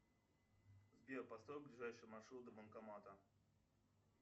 сбер построй ближайший маршрут до банкомата